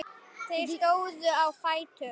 Þeir stóðu á fætur.